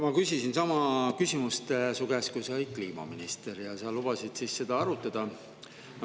Ma küsisin sama küsimust su käest, kui sa olid kliimaminister, ja sa lubasid seda arutada.